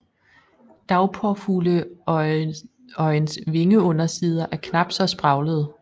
Dagpåfugleøjens vingeundersider er knapt så spraglede